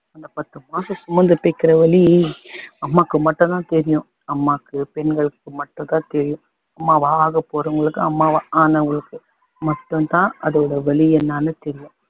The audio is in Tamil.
அந்த பத்து மாசம் சுமந்து பெக்குற வலி அம்மாக்கு மட்டும் தான் தெரியும் அம்மாக்கு பெண்களுக்கு மட்டும் தான் தெரியும் அம்மாவாக போறவங்களுக்கு அம்மாவா ஆனவங்களுக்கு மட்டும் தான் அதோட வலி என்னன்னு தெரியும்